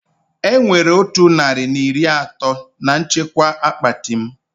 Enwere otu narị na iri atọ na nchekwa akpati m